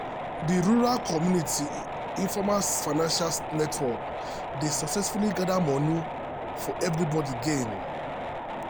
di rural community informal financial network dey successfully gather money for everybody gain.